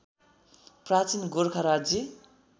प्राचीन गोरखा राज्य